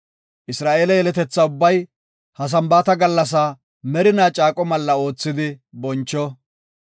Isra7eele yeletetha ubbay ha Sambaata gallasaa merina caaqo malla oothidi boncho.